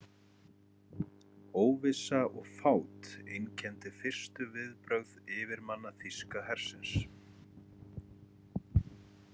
Óvissa og fát einkenndi fyrstu viðbrögð yfirmanna þýska hersins.